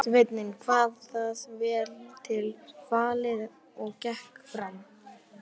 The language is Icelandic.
Sveinninn kvað það vel til fallið og gekk fram.